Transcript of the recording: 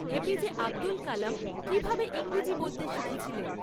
এ P J Abdul Kalam কী ভাবে ইংরেজি বলতে শিখেছিলেন?